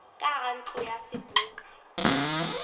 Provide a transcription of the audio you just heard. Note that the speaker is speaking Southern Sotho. ka hara ntlo ya seboka